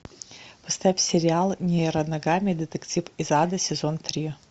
поставь сериал нейро ногами детектив из ада сезон три